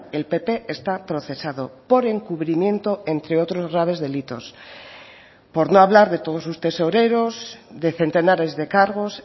el pp está procesado por encubrimiento entre otros graves delitos por no hablar de todos sus tesoreros de centenares de cargos